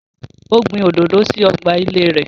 Ó gbin òdòdó sí ọgbà ilée rē